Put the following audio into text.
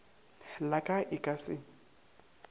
la ka e ka se